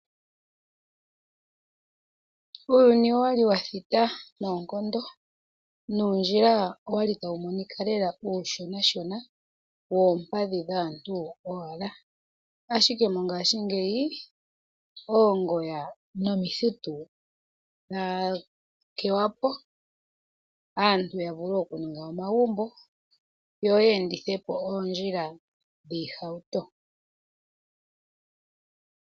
Uuyuni owali wa thita noonkondo, nuundjila owali tawu monika lela uushonashona woompadhi dhaantu owala. Ashikee mongashiingeyi oongoya nomithitu yakewapo, aantu ya vulu okumona omagumbo yo yeendithepo oondjila dhoohauto.